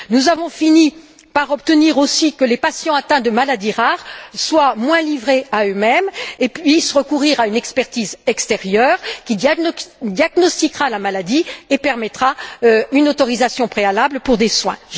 Nous avons fini par obtenir aussi que les patients atteints de maladies rares soient moins livrés à eux mêmes et puissent recourir à une expertise extérieure qui diagnostiquera la maladie et permettra une autorisation préalable pour des soins.